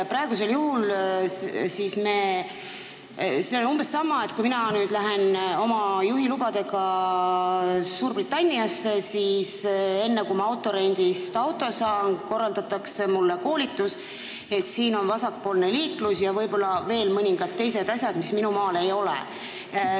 Praegu me arutame umbes sama asja nagu see, kui mina lähen oma juhilubadega Suurbritanniasse ja enne, kui ma rendifirmast auto saan, korraldatakse mulle koolitus, et siin on vasakpoolne liiklus ja võib-olla veel mõningad teised asjad, mida minu maal ei ole.